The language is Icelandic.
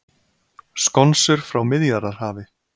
Skonsur frá Miðjarðarhafi